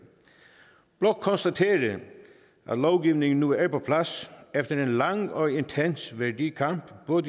blot konstatere at lovgivningen nu er på plads efter en lang og intens værdikamp både